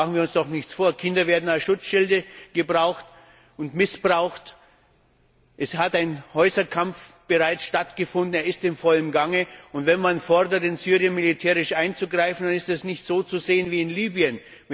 Machen wir uns doch nichts vor Kinder werden als Schutzschilde gebraucht und missbraucht, es hat bereits ein Häuserkampf stattgefunden, er ist in vollem Gange. Und wenn man fordert, in Syrien militärisch einzugreifen, dann ist es nicht so zu sehen wie in Libyen.